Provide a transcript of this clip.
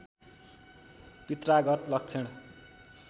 पित्रागत लक्षण